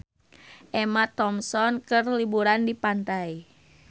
Emma Thompson keur liburan di pantai